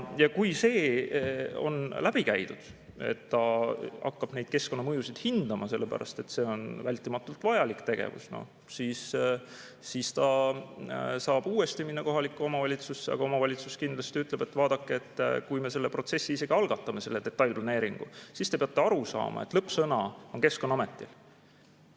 Ja kui see on läbi käidud, et ta hakkab neid keskkonnamõjusid hindama, sellepärast et see on vältimatult vajalik tegevus, siis ta saab uuesti minna kohalikku omavalitsusse, aga omavalitsus kindlasti ütleb, et vaadake, kui me selle protsessi isegi algatame, selle detailplaneeringu, siis te peate aru saama, et lõppsõna on Keskkonnaametil.